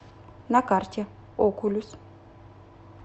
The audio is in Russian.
на карте окулюс